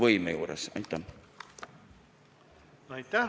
Aitäh!